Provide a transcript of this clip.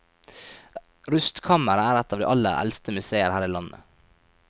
Rustkammeret er et av de aller eldste museer her i landet.